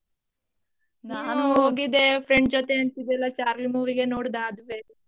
ಹೋಗಿದ್ದೆ friend ಜೊತೆ ಅಂತಿದ್ಯಲ್ಲ charlie movie ಗೆ ನೋಡ್ದ .